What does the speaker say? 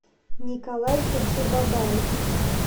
николай гаджибабаев